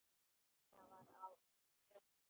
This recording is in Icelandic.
Nína var á þönum.